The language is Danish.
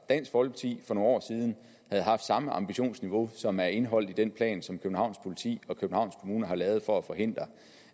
dansk folkeparti for nogle år siden havde haft samme ambitionsniveau som er indeholdt i den plan som københavns politi og københavns kommune har lavet for at forhindre